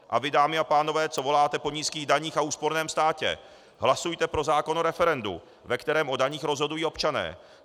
A vy, dámy a pánové, co voláte po nízkých daních a úsporném státě, hlasujte pro zákon o referendu, ve kterém o daních rozhodují občané.